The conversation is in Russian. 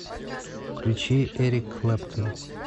включи эрик клэптон